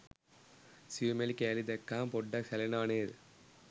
සියුමැලි කෑලි දැක්කහම පොඩ්ඩක් සැලෙනවා නේද?